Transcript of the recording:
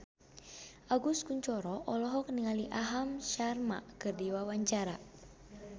Agus Kuncoro olohok ningali Aham Sharma keur diwawancara